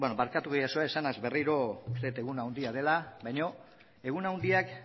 barkatuko didazue esanaz berriro uste dut egun handia dela baina egun handiak